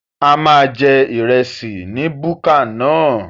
A máa jẹ ìrẹsì ní búkà náà